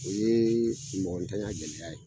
O ye mɔgɔntanya gɛlɛya ye.